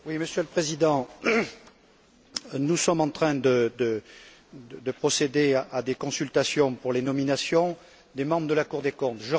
Monsieur le Président, nous sommes en train de procéder à des consultations pour les nominations des membres de la Cour des comptes.